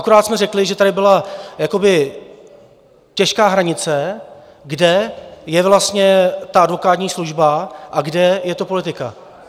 Akorát jsme řekli, že tady byla jakoby těžká hranice, kde je vlastně ta advokátní služba a kde je to politika.